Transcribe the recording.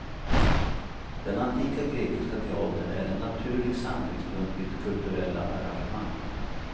Den antika grekiska teatern är en naturlig samlingspunkt vid kulturella arrangemang.